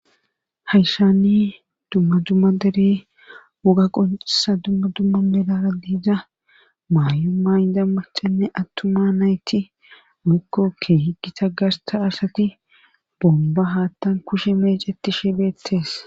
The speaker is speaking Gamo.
hayshani dumma dumma dere woga qonesa dumma dumma melara diidza maayu ma indamma cenne attuma nayti mikkokke higita garta asati bomba haattan kushe meeceti sheebeettees